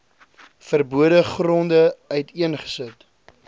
verbode gronde uiteengesit